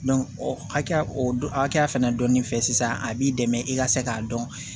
o hakɛya o hakɛya fɛnɛ dɔnnen fɛ sisan a b'i dɛmɛ i ka se k'a dɔn